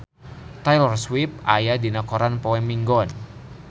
Taylor Swift aya dina koran poe Minggon